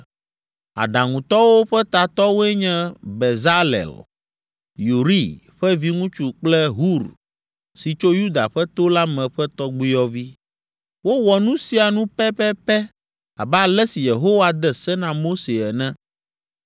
Aɖaŋutɔwo ƒe tatɔwoe nye Bezalel, Uri ƒe viŋutsu kple Hur si tso Yuda ƒe to la me ƒe tɔgbuiyɔvi. Wowɔ nu sia nu pɛpɛpɛ abe ale si Yehowa de se na Mose ene.